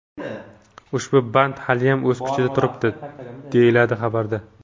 Ushbu band haliyam o‘z kuchida turibdi”, deyiladi xabarda.